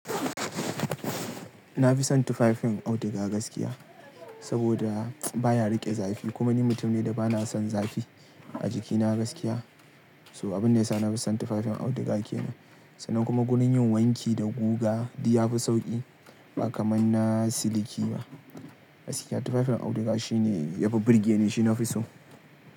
Na fi son tufafin auduga gaskiya, saboda baya riƙe zafi kuma ni mutum ne da bana son zafi a jikina gaskiya. So abun ne ya sa na fi son tufafin auduga ke nan. Sannan kuma gunin yin wanki da guga di yafi sauƙi ba kamar na siliki ba. Gaskiya tufafin auduga shi ne yafi burge ni shi nafi so.